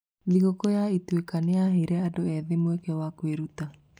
Thigũkũ ya Ituĩka nĩ yaheire andũ ethĩ mweke wa kwĩruta.